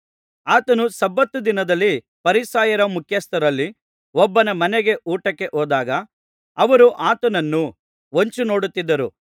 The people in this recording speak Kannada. ಆತನು ಸಬ್ಬತ್ ದಿನದಲ್ಲಿ ಫರಿಸಾಯರ ಮುಖ್ಯಸ್ಥರಲ್ಲಿ ಒಬ್ಬನ ಮನೆಗೆ ಊಟಕ್ಕೆ ಹೋದಾಗ ಅವರು ಆತನನ್ನು ಹೊಂಚಿನೋಡುತ್ತಿದ್ದರು